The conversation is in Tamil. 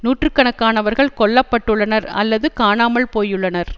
நூற்று கணக்கானவர்கள் கொல்ல பட்டுள்ளனர் அல்லது காணாமல் போயுள்ளனர்